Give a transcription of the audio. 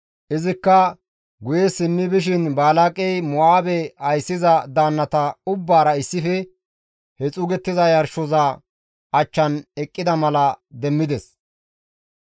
Izikka guye simmi bishin Balaaqey Mo7aabe ayssiza daannata ubbaara issife he xuugettiza yarshoza achchan eqqida mala demmides.